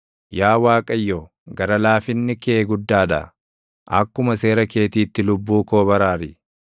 Yaa Waaqayyo, gara laafinni kee guddaa dha; akkuma seera keetiitti lubbuu koo baraari.